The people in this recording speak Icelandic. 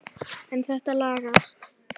En þetta lagast.